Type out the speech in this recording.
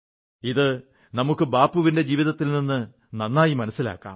ഇത് നമുക്ക് ബാപ്പുവിന്റെ ജീവിതത്തിൽ നിന്ന് നന്നായി മനസ്സിലാക്കാം